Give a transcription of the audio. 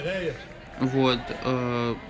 вот ээ